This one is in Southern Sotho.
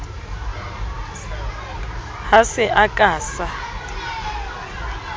ha se a ka sa